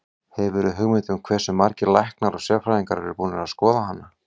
Hefurðu hugmynd um hversu margir læknar og sérfræðingar eru búnir að skoða hana?